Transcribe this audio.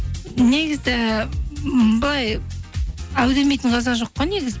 негізі былай әу демейтін қазақ жоқ қой негізі